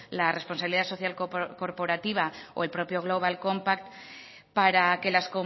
la responsabilidad social corporativa o el propio global compact para que las